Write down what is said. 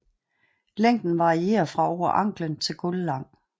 Længden varierer fra over anklen til gulvlang